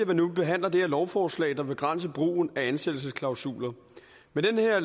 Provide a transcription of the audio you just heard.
vi nu behandler det her lovforslag der begrænser brugen af ansættelsesklausuler med det her